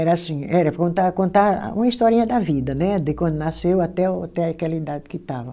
Era assim, era contar contar uma historinha da vida né, de quando nasceu até o até aquela idade que estava.